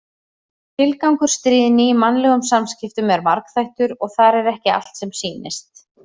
Tilgangur stríðni í mannlegum samskiptum er margþættur og þar er ekki allt sem sýnist.